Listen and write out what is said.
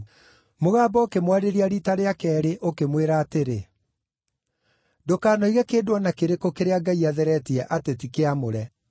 Mũgambo ũkĩmwarĩria riita rĩa keerĩ ũkĩmwĩra atĩrĩ, “Ndũkanoige kĩndũ o na kĩrĩkũ kĩrĩa Ngai atheretie atĩ ti kĩamũre.”